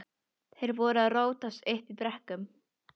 Þeir voru að rótast uppi í brekkum.